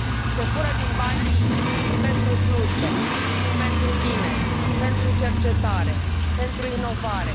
Se fură din banii pentru slujbe, pentru tineri, pentru cercetare, pentru inovare.